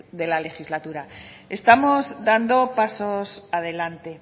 de la legislatura estamos dando pasos adelante